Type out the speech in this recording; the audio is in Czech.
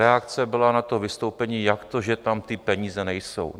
Reakce byla na to vystoupení: jak to, že tam ty peníze nejsou?